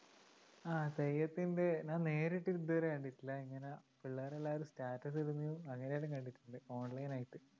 ആ തെയ്യത്തിൻറെ ഞാൻ നേരിട്ട് ഇതുവരെ കണ്ടിട്ടില്ല ഇങ്ങനെ പിള്ളേരെല്ലാരും status ഇടുന്നതും അങ്ങിനെയെല്ലാം കണ്ടിട്ടുണ്ട് online ആയിട്ട്